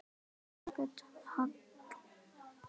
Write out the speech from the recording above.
Elísabet Hall: En ekki lengur?